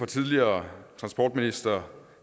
tidligere transportminister